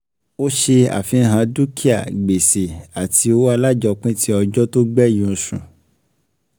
Ó ṣe àfihàn dúkìá, gbèsè àti owó alájọpín tí ọjọ́ tó gbẹ̀yìn oṣù.